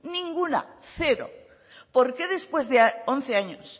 ninguna cero por qué después de once años